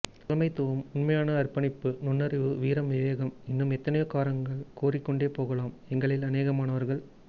தலைமைத்துவம் உன்மையான அற்பணிப்பு நுன்னறிவு வீரம் விவேகம் இன்னும் எத்தனையோ காரணங்கள் கூறிக்கொண்டேபோகலாம் எங்களில் அனேகமானவர்கள்